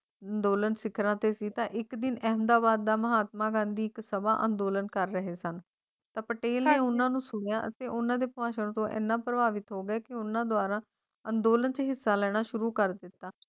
ਅੰਦੋਲਨ ਸਿਖਰਾਂ ਤੇ ਸੀ ਤਾਂ ਇੱਕ ਦਿਨ ਕਹਿੰਦਾ ਵਾਅਦਾ ਮਹਾਤਮਾ ਗਾਂਧੀ ਅੰਦੋਲਨ ਕਰ ਰਹੇ ਸਨ ਪਟੇਲ ਨਾਲ ਉਨ੍ਹਾਂ ਨੂੰ ਸੁਣਿਆ ਅਤੇ ਉਨ੍ਹਾਂ ਦੇ ਭਾਸ਼ਣ ਤੋਂ ਏਨੇ ਪ੍ਰਭਾਵਿਤ ਹੋਏ ਕਿ ਉਹਨਾਂ ਦੁਆਰਾ ਲੈਣਾ ਸ਼ੁਰੂ ਕਰ ਦਿੱਤਾ